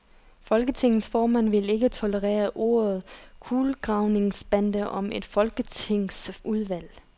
Folketingets formand vil ikke tolerere ordet kulegravningsbande om et folketingsudvalg.